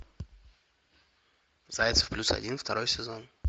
зайцев плюс один второй сезон